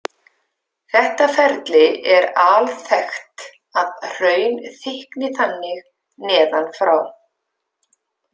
Þetta ferli er alþekkt að hraun þykkni þannig neðan frá.